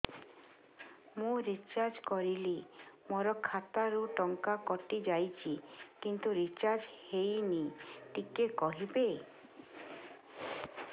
ମୁ ରିଚାର୍ଜ କରିଲି ମୋର ଖାତା ରୁ ଟଙ୍କା କଟି ଯାଇଛି କିନ୍ତୁ ରିଚାର୍ଜ ହେଇନି ଟିକେ କହିବେ